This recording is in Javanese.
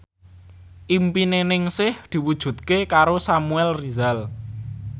impine Ningsih diwujudke karo Samuel Rizal